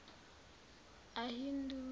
ahindu